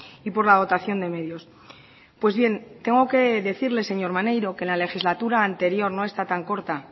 y por la dotación de medios pues bien tengo que decirle señor maneiro que en la legislatura anterior no esta tan corta